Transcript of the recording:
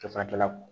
Ka fara kɛlaw